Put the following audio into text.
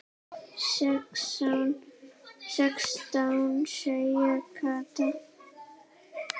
Sextán sagði Kata.